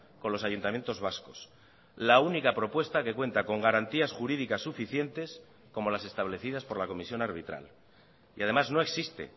con los ayuntamientos vascos la única propuesta que cuenta con garantías jurídicas suficientes como las establecidas por la comisión arbitral y además no existe